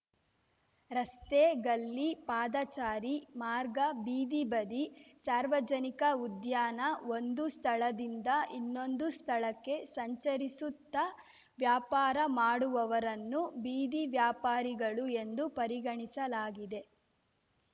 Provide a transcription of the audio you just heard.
ರಸ್ತೆ ಗಲ್ಲಿ ಪಾದಚಾರಿ ಮಾರ್ಗ ಬೀದಿ ಬದಿ ಸಾರ್ವಜನಿಕ ಉದ್ಯಾನ ಒಂದು ಸ್ಥಳದಿಂದ ಇನ್ನೊಂದು ಸ್ಥಳಕ್ಕೆ ಸಂಚರಿಸುತ್ತಾ ವ್ಯಾಪಾರ ಮಾಡುವವರನ್ನು ಬೀದಿ ವ್ಯಾಪಾರಿಗಳು ಎಂದು ಪರಿಗಣಿಸಲಾಗಿದೆ